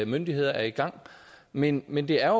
myndigheder er i gang men men det er